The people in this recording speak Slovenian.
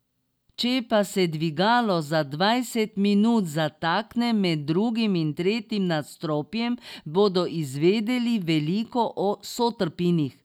Če pa se dvigalo za dvajset minut zatakne med drugim in tretjim nadstropjem, bodo izvedeli veliko o sotrpinih.